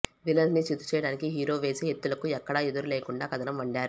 villains ని చిత్తు చేయటానికి హీరో వేసే ఎత్తులకు ఎక్కడా ఎదురేలేకుండా కథనం వండారు